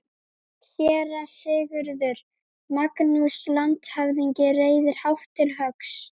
SÉRA SIGURÐUR: Magnús landshöfðingi reiðir hátt til höggs.